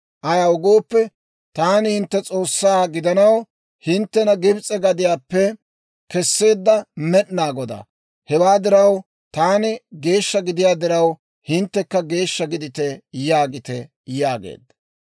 Ayaw gooppe, Taani hintte S'oossaa gidanaw, hinttena Gibs'e gadiyaappe kesseedda Med'inaa Godaa. Hewaa diraw, Taani geeshsha gidiyaa diraw, hinttekka geeshsha gidite yaagite yaageedda.